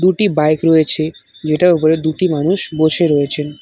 একটি বাইক রয়েছে যেটার উপরে দুটি মানুষ বসে রয়েছেন।